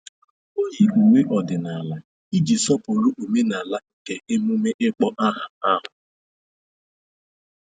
O yi uwe ọdịnala iji sọpụrụ omenala nke emume ịkpọ aha ahụ.